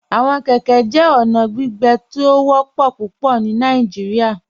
Awọn kẹkẹ jẹ ọna gbígbẹ̀ tó ó wọpọ̀ pupọ̀ ní Nàìjíríà.